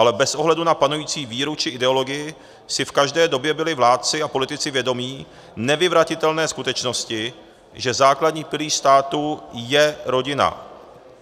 Ale bez ohledu na panující víru či ideologii si v každé době byli vládci a politici vědomi nevyvratitelné skutečnosti, že základní pilíř státu je rodina.